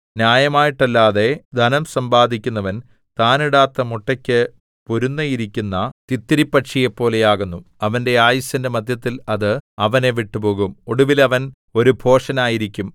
ന്യായമായിട്ടല്ലാതെ ധനം സമ്പാദിക്കുന്നവൻ താൻ ഇടാത്ത മുട്ടയ്ക്ക് പൊരുന്നയിരിക്കുന്ന തിത്തിരിപ്പക്ഷിയെപ്പോലെയാകുന്നു അവന്റെ ആയുസ്സിന്റെ മദ്ധ്യത്തിൽ അത് അവനെ വിട്ടുപോകും ഒടുവിൽ അവൻ ഒരു ഭോഷനായിരിക്കും